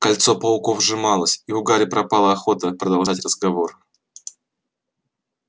кольцо пауков сжималось и у гарри пропала охота продолжать разговор